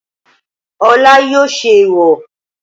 Olá yóò ṣe ẹ̀ẹ̀wọ̀